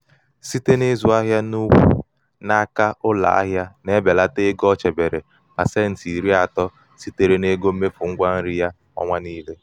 siteb n'ịzụ ahịa n'ụkwu n'aka ụlọ ahịa na- ebelata ego o chebere 30% sitere n'ego mmefu ngwa nri ya ọnwa niile.